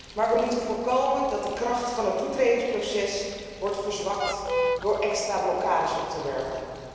Maar wij moeten voorkomen dat de kracht van het toetredingsproces wordt verzwakt door extra blokkades op te werpen.